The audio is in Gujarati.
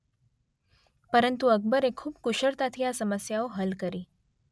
પરંતુ અકબરે ખુબ કુશળતાથી આ સમસ્યાઓ હલ કરી.